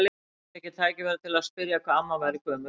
Nú fékk ég tækifæri til að spyrja hvað amma væri gömul.